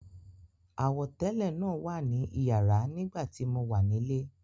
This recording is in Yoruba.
Àwọ̀tẹ́lẹ̀ náà wà ní iyàrá nígbà tí mo wà nílé.